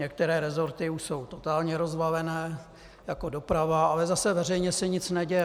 Některé resorty už jsou totálně rozvalené, jako doprava, ale zase veřejně se nic neděje.